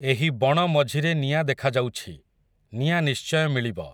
ଏହି ବଣ ମଝିରେ ନିଆଁ ଦେଖାଯାଉଛି, ନିଆଁ ନିଶ୍ଚୟ ମିଳିବ ।